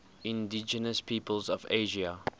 indigenous peoples of asia